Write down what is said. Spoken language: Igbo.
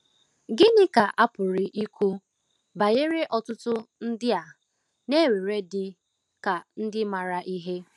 Gịnị ka a pụrụ ikwu banyere ọtụtụ ndị a na-ewere dị ka ndị maara ihe?